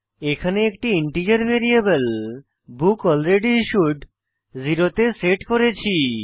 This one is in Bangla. এখানে একটি ইন্টিজার ভ্যারিয়েবল বুকলরেডিস্যুড 0 তে সেট করেছি